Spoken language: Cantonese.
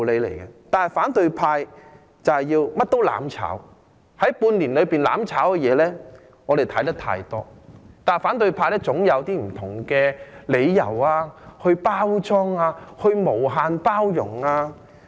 但是，反對派甚麼也要"攬炒"，在半年內，"攬炒"的事情，我們已經看得太多，但反對派總可以用一些不同的理由包裝、無限包容。